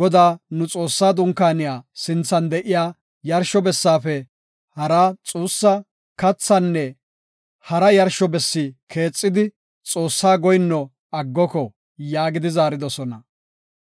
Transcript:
Godaa nu Xoossaa dunkaaniya sinthan de7iya yarsho bessaafe haraa xuussa, kathaanne hara yarsho bessi keexidi Xoossaa goyinno aggoko” yaagidi zaaridosona.